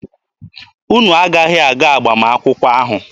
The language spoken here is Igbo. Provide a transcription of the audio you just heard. Unu aghaghị aga agbamakwụkwọ ahụ.